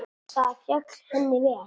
Það féll henni vel.